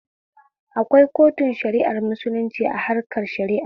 Akwai kotun shara'ar musulunci a harkan shara'a